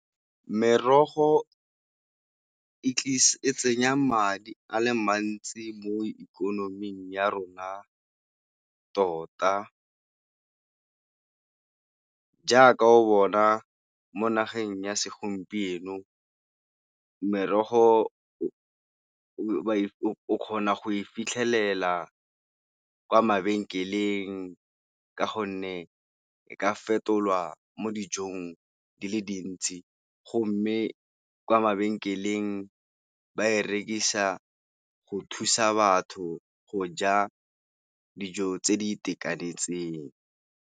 Merogo e tsenya madi a le mantsi mo ikonoming ya rona tota, jaaka o bona mo nageng ya segompieno merogo o kgona go e fitlhelela kwa mabenkeleng. Ka gonne e ka fetolwa mo dijong di le dintsi, go mme kwa mabenkeleng ba e rekisa go thusa batho go ja dijo tse di itekanetseng.